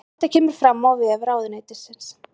Þetta kemur fram á vef ráðuneytisins